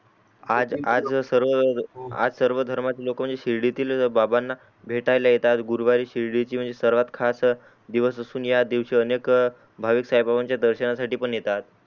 आज सर्व धर्मातील लोक म्हणजे शिर्डीतील बाबाणा भेटायला येतात गुरवारी शिर्डीतील म्हणजे सर्वात खास दिवस असून या दिवसी अनेक भाविक साई बाबांच्या दर्शनासाठी पण येतात